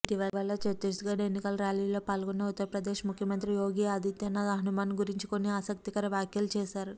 ఇటీవల ఛత్తీస్గడ్ ఎన్నికల ర్యాలీలో పాల్గొన్న ఉత్తరప్రదేశ్ ముఖ్యమంత్రి యోగి ఆదిత్యనాథ్ హనుమాన్ గురించి కొన్ని ఆసక్తికర వ్యాఖ్యలు చేశారు